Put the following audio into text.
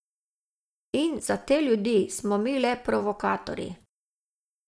In za te ljudi, smo mi le provokatorji.